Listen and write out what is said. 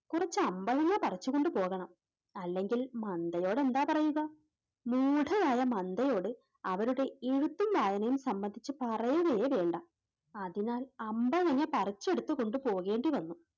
കുറച്ച് അമ്പഴങ്ങ പറിച്ചു കൊണ്ടുപോകണം, അല്ലെങ്കിൽ മന്ദയോട് എന്താ പറയുക? മൂഢയായ മന്ദയോട് അവരുടെ എഴുത്തും വായനയും സംബന്ധിച്ച് പറയുകയേ വേണ്ട, അതിനാൽ അമ്പഴങ്ങ പറിച്ചെടുത്തു കൊണ്ടു പോകേണ്ടിവന്നു.